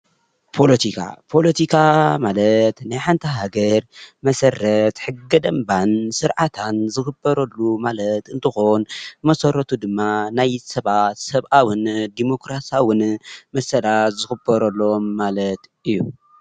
ፓሎቲካ፦ ፖሎቲካ ማለት ናይ ሓንቲ ሃገር መሰረት ሕገ ደንባን ስርዓታን ዝክበረሉ ማለት እንትኮን መሰረቱ ድማ ናይ ሰባት ሰብአዉን ዲሞክራስያውን መሰላት ዝክበረሎም ማለት እዩ።